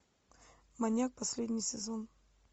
маньяк последний сезон